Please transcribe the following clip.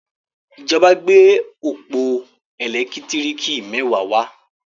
ìjọba gbé ọpọ elekitiriki mẹwa wá.